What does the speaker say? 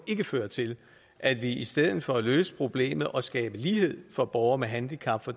føre til at vi i stedet for at løse problemet og skabe lighed for borgere med handicap når